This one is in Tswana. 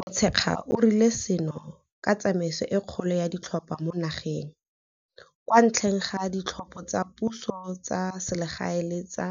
Motshekga o rile seno ke tsamaiso e kgolo ya ditlhopho mo nageng, kwa ntle ga ditlhopho tsa puso tsa selegae le tsa